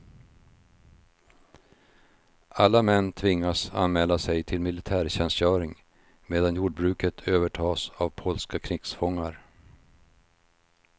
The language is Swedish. Alla män tvingas anmäla sig till militärtjänstgöring medan jordbruket övertas av polska krigsfångar.